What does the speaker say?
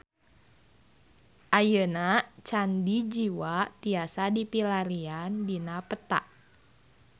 Ayeuna Candi Jiwa tiasa dipilarian dina peta